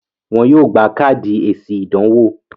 wọ́n yóò gbà káàdì èsì ìdánwò.